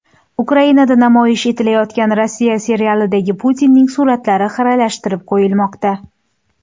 Ukrainada namoyish etilayotgan Rossiya serialidagi Putinning suratlari xiralashtirib qo‘yilmoqda.